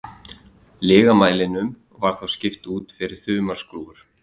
Lygamælinum var þá skipt út fyrir þumalskrúfur.